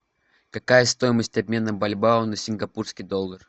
какая стоимость обмена бальбоа на сингапурский доллар